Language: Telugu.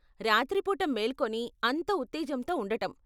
రాత్రిపూట మేల్కొని అంత ఉత్తేజంతో ఉండటం.